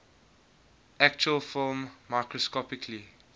actual film microscopically